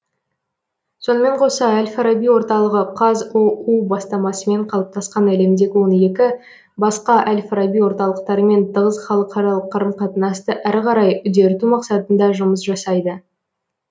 сонымен қоса әл фараби орталығы қазұу бастамасымен қалыптасқан әлемдегі он екі басқа әл фараби орталықтарымен тығыз халықаралық қарым қатынасты әрі қарай үдерту мақсатында жұмыс жасайды